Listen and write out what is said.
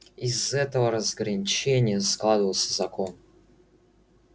из этого разграничения складывался закон